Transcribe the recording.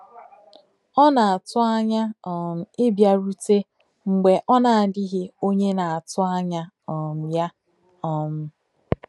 Ọ na-atụ anya um ịbịarute mgbe ọ na-adịghị onye na-atụ anya um ya. um